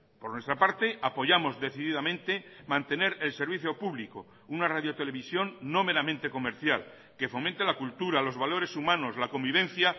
por nuestra parte apoyamos decididamente mantener el servicio público una radio televisión no meramente comercial que fomente la cultura los valores humanos la convivencia